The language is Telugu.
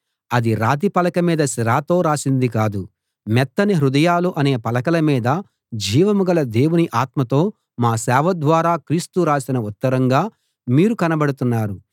అది రాతి పలక మీద సిరాతో రాసింది కాదు మెత్తని హృదయాలు అనే పలకల మీద జీవం గల దేవుని ఆత్మతో మా సేవ ద్వారా క్రీస్తు రాసిన ఉత్తరంగా మీరు కనబడుతున్నారు